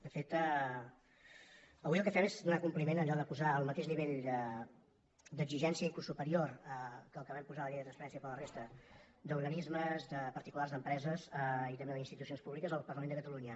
de fet avui el que fem és donar compliment a allò de posar el mateix nivell d’exigència inclús superior que el que vam posar a la llei de transparència per a la resta d’organismes de particulars d’empreses i també d’institucions públiques al parlament de catalunya